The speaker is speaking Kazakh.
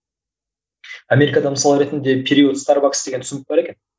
америкада мысалы ретінде период старбакс деген түсінік бар екен